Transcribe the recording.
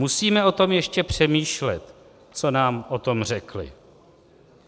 Musíme o tom ještě přemýšlet, co nám o tom řekli."